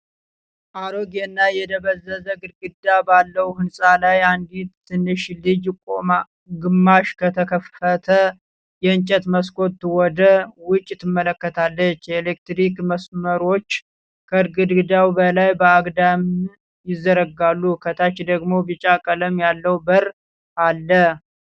አሮጌ እና የደበዘዘ ግድግዳ ባለው ህንጻ ላይ፣ አንዲት ትንሽ ልጅ ግማሽ ከተከፈተ የእንጨት መስኮት ወደ ውጪ ትመለከታለች። የኤሌክትሪክ መስመሮች ከግድግዳው በላይ በአግድም ይዘረጋሉ። ከታች ደግሞ ቢጫ ቀለም ያለው በር አለ።